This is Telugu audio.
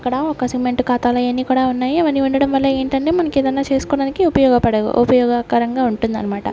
ఇక్కడ ఒక సిమెంట్ ఖాతాలయన్ని కూడా ఉన్నాయి అవన్నీ ఉండడం వల్ల ఏంటి అంటే మనకి ఏదైనా చేసుకోవడానికి ఉపయోగపడవు ఉపయోగకరంగా ఉంటుంది అన్నమాట.